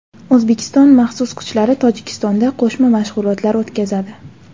O‘zbekiston maxsus kuchlari Tojikistonda qo‘shma mashg‘ulotlar o‘tkazadi.